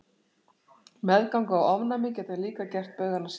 Meðganga og ofnæmi geta líka gert baugana sýnilegri.